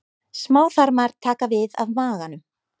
Smáþarmar taka við af maganum.